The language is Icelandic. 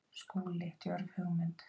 SKÚLI: Djörf hugmynd!